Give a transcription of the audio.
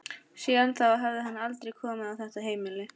Síðan þá hafði hann aldrei komið á þetta heimili.